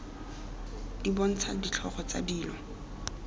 di bontsha ditlhogo tsa dilo